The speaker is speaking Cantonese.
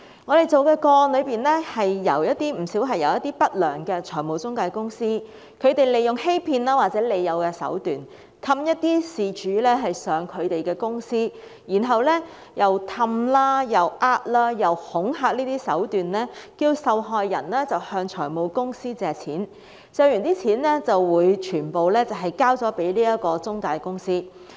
我們跟進的不少個案，是一些不良的財務中介公司利用欺騙或利誘的手段，哄騙事主前往他們的公司，再以哄騙、恐嚇的手段，要求受害人向財務公司借貸，借得的金額會全數交給中介公司。